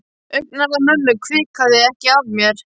Augnaráð mömmu hvikaði ekki af mér.